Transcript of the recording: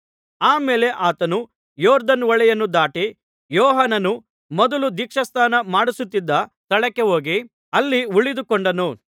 ಆ ಮೇಲೆ ಆತನು ಯೊರ್ದನ್ ಹೊಳೆಯನ್ನು ದಾಟಿ ಯೋಹಾನನು ಮೊದಲು ದೀಕ್ಷಾಸ್ನಾನ ಮಾಡಿಸುತ್ತಿದ್ದ ಸ್ಥಳಕ್ಕೆ ಹೋಗಿ ಅಲ್ಲಿ ಉಳಿದು ಕೊಂಡನು